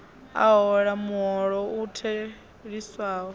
a hola muholo u theliswaho